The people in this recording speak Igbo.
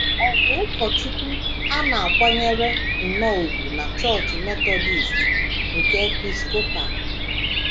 Ọ bụ ụkọchukwu a na - akwanyere nnọọ ùgwù na Chọọchị Metọdist nke Episcopal.